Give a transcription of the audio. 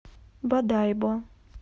бодайбо